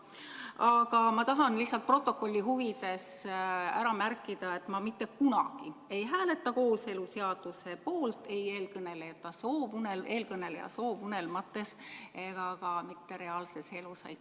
Aga ma tahan lihtsalt protokolli huvides ära märkida, et ma mitte kunagi ei hääleta kooseluseaduse poolt, ei eelkõneleja soovunelmates ega ka mitte reaalses elus.